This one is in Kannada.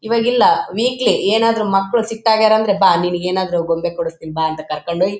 ಇವಾಗ್ ಇಲ್ಲ ವೀಕ್ಲಿ ಏನಾದರು ಮಕ್ಕಳು ಸಿಕ್ದಾಗ ಎಂದ್ರೆ ಬಾ ನಿನಗೆ ಏನಾದರು ಗೊಂಬೆ ಕೊಡಿಸ್ತೀನಿ ಬಾ ಅಂತ ಕರ್ಕೊಂಡು ಹೋಗಿ --